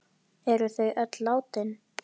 Eru þau nú öll látin.